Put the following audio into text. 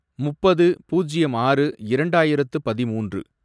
முப்பது, பூஜ்யம் ஆறு, இரண்டாயிரத்து பதிமூன்று